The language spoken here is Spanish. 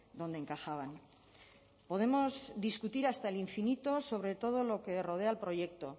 dónde encajaban podemos discutir hasta el infinito sobre todo lo que rodea al proyecto